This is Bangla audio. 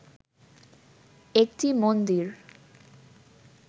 একটি মন্দির